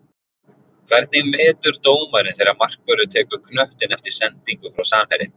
Hvernig metur dómarinn þegar markvörður tekur knöttinn eftir sendingu frá samherja?